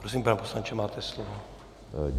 Prosím, pane poslanče, máte slovo.